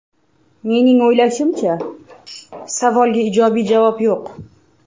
Mening o‘ylashimcha, savolga ijobiy javob yo‘q.